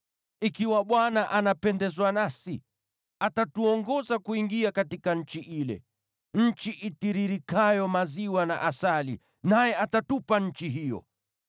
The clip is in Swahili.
Ikiwa Bwana anapendezwa nasi, atatuongoza kuingia katika nchi ile, nchi itiririkayo maziwa na asali, naye atatupa nchi hiyo.